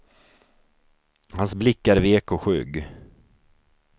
Hans blick är vek och skygg.